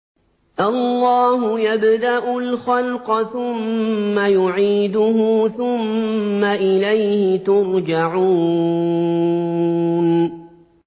اللَّهُ يَبْدَأُ الْخَلْقَ ثُمَّ يُعِيدُهُ ثُمَّ إِلَيْهِ تُرْجَعُونَ